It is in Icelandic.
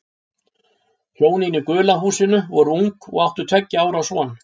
Hjónin í gula húsinu voru ung og áttu tveggja ára son.